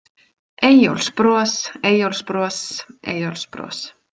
Eyjólfsbros, Eyjólfsbros, Eyjólfsbros.